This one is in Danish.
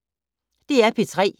DR P3